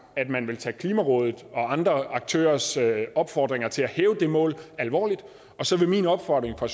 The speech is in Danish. at man vil tage klimarådet og andre aktørers opfordringer til at hæve det mål alvorligt så vil min opfordring fra